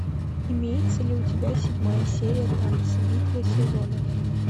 имеется ли у тебя седьмая серия танцы битва сезонов